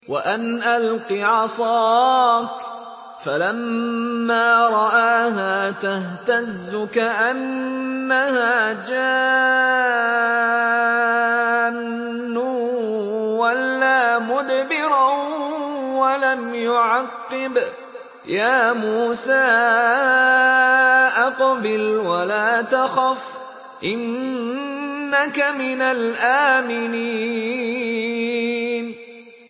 وَأَنْ أَلْقِ عَصَاكَ ۖ فَلَمَّا رَآهَا تَهْتَزُّ كَأَنَّهَا جَانٌّ وَلَّىٰ مُدْبِرًا وَلَمْ يُعَقِّبْ ۚ يَا مُوسَىٰ أَقْبِلْ وَلَا تَخَفْ ۖ إِنَّكَ مِنَ الْآمِنِينَ